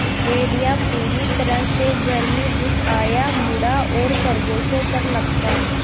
भेड़िया पूरी तरह से घर में घुस आया मुड़ा और खरगोशों पर लपका